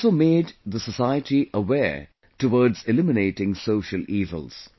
He also made the society aware towards eliminating social evils